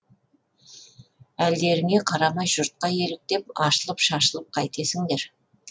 әлдеріңе қарамай жұртқа еліктеп ашылып шашылып қайтесіңдер